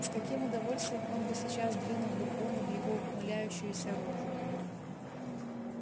с каким удовольствием он бы сейчас двинул бурбону в его ухмыляющуюся рожу